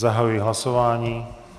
Zahajuji hlasování.